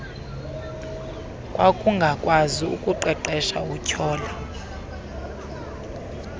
wakungakwazi ukuqeqesha utyhole